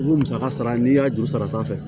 Ni mu musaka sara n'i y'a juru sarata fɛ